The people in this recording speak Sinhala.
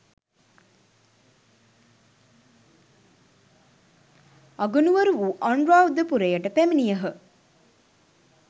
අගනුවර වූ අනුරාධපුරයට පැමිණියහ.